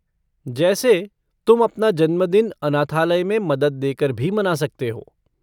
जैसे तुम अपना जन्मदिन अनाथालय में मदद देकर भी मना सकते हो।